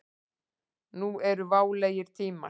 Nú eru válegir tímar.